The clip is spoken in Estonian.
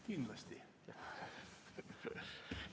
Kindlasti!